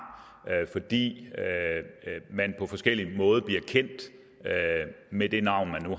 fordi man på forskellig måde bliver kendt med det navn man